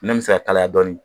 Min bɛ se ka kalaya dɔɔnin